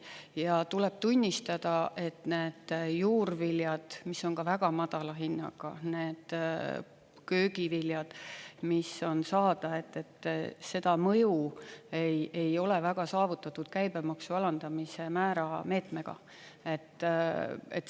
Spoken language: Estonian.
Ja tuleb tunnistada, et need juurviljad, mis on ka väga madala hinnaga, need köögiviljad, mis on saada, seda mõju ei ole väga saavutatud käibemaksumäära alandamise meetmega.